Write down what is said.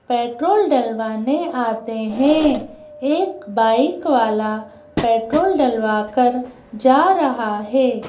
Petrol डलवाने आते हैं एक बाइक वालापेट्रोल डलवाकर जा रहा है।